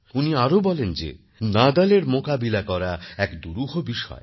উনি আরও বলেন যেনাদালের মোকাবিলা করা এক দুরূহ বিষয়